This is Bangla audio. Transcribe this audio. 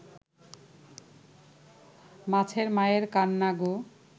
মাছের মায়ের কান্না গো